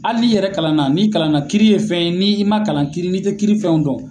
Ali'in'i yɛrɛ kalan na n'i kalan na kiiri ye fɛn n'i ma kalan kiiri ni te kiiri fɛnw dɔn